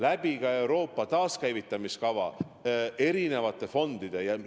Raha eraldatakse ka Euroopa taaskäivitamiskava erinevatest fondidest.